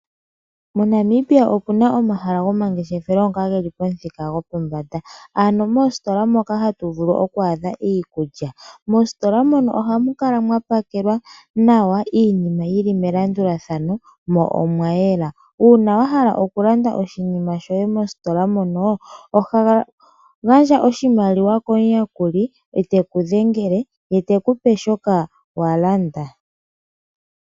MoNamibia opu na omahala gomangeshefelo ngoka ge li pamuthika gopombanda. Ano moostola moka hatu vulu okwaadha iikulya. Moostola mono ohamu kala mwa pakelwa nawa, iinima yi li melandulathano, mo omwa yela. Uuna wa hala okulanda oshinima shoye mostola mono, oho gandja oshimaliwa komuyakuli, e te ku dhengele, ye te ku pe shoka wa landa.